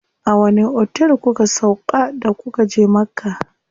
A wani otel kuka sauƙa da kuka je Makka?